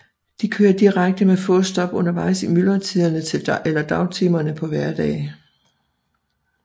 De kører direkte med få stop undervejs i myldretiderne eller dagtimerne på hverdage